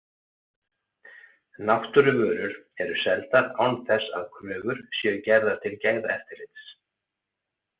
Náttúruvörur eru seldar án þess að kröfur séu gerðar til gæðaeftirlits.